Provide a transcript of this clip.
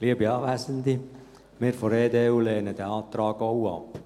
Wir von der EDU lehnen den Antrag auch ab.